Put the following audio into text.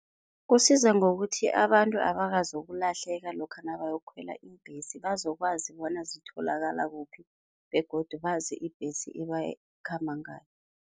Kusiza ngokuthi abantu abakazokulahleka lokha nabayokukhwela iimbhesi, bazokwazi bona zitholakala kuphi begodu bazi ibhesi ebakhamba ngayo.